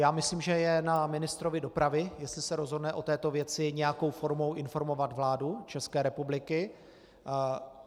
Já myslím, že je na ministrovi dopravy, jestli se rozhodne o této věci nějakou formou informovat vládu České republiky.